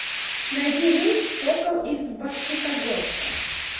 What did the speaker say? найди рейс в сокол из бокситогорска